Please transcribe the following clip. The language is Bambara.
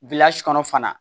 kɔnɔ fana